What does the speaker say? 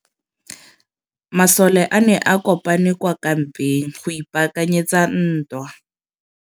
Masole a ne a kopane kwa kampeng go ipaakanyetsa ntwa.